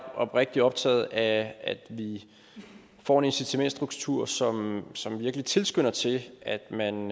oprigtigt optaget af at vi får en incitamentsstruktur som som virkelig tilskynder til at man